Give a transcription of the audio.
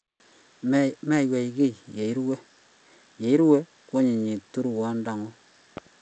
Meiywei kiy ye irue; ye iru, koanyinyitu rwondang'ung'.